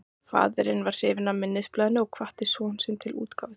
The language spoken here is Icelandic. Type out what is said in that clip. Faðirinn varð hrifinn af minnisblaðinu og hvatti son sinn til útgáfu þess.